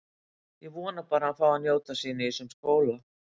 Ég vona bara að hann fái að njóta sín í þessum skóla.